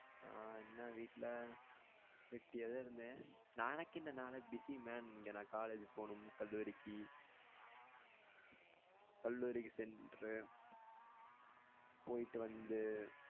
ஆஹ் என்ன வீட்ல வெட்டியா தான் இருந்தேன் நா எனகென்ன நாலாம் busy man இங்க நான் college போணும் கல்லூரிக்கு கல்லூரிக்கு சென்று போயிட்டு வந்து